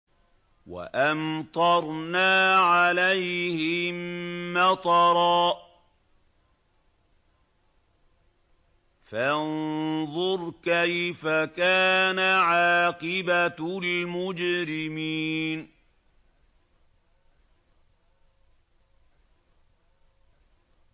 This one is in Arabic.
وَأَمْطَرْنَا عَلَيْهِم مَّطَرًا ۖ فَانظُرْ كَيْفَ كَانَ عَاقِبَةُ الْمُجْرِمِينَ